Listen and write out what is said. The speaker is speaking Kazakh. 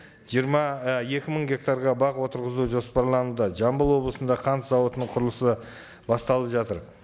жиырма і екі мың гектарға бақ отырғызу жоспарлануда жамбыл облысында қант зауытының құрылысы басталып жатыр